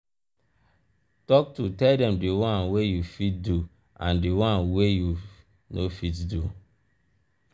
talk true tell dem di won wey you fit do and di one wey you no fit do